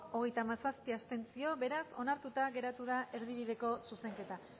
hogeita hamazazpi abstentzio beraz onartuta geratu da erdibideko zuzenketa